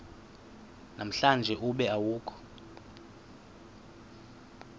namhlanje ube awukho